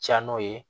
Ca n'o ye